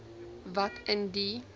wat in die